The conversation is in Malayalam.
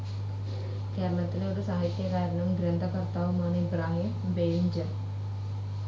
കേരളത്തിലെ ഒരു സാഹിത്യകാരനും, ഗ്രന്ഥകർത്താവുമാണ് ഇബ്രാഹിം ബേവിഞ്ച.